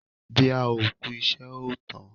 Bí a ò kú ìṣe ò tán.